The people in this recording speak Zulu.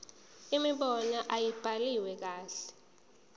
imibono ayibhaliwe kahle